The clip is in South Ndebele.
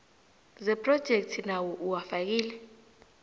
zephrojekhthi nawo uwafakile